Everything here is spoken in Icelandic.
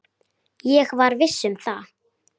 Ég var viss um það.